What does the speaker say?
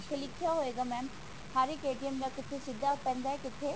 ਉੱਥੇ ਲਿਖਿਆ ਹੋਏਗਾ mam ਹਰ ਇੱਕ ਦਾ ਕਿੱਥੇ ਸਿਧਾ ਪੈਂਦਾ ਕਿੱਥੇ